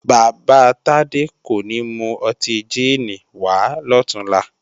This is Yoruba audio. Bàbá Tádé kò ní mú ọtí jíìnì wàá lọ̀túnla